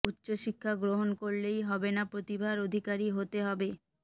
উচ্চ শিক্ষা গ্রহণ করলেই হবে না প্রতিভার অধিকারী হতে হবে